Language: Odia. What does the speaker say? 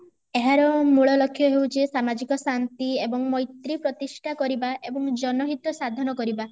ଏହାର ମୂଳ ଲକ୍ଷ ହେଉଚି ସାମାଜିକ ଶାନ୍ତି ଓ ମୈତ୍ରୀ ପ୍ରତିଷ୍ଠା କରିବା ଏବଂ ଜନହିତ ସାଧନ କରିବା